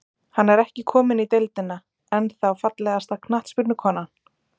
Hann er ekki kominn í deildina, ennþá Fallegasta knattspyrnukonan?